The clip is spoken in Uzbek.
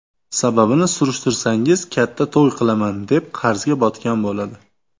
Sababini surishtirsangiz, katta to‘y qilaman, deb qarzga botgan bo‘ladi.